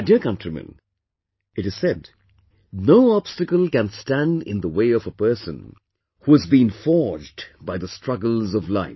My dear countrymen, it is said no obstacle can stand in the way of a person who has been forged by the struggles of life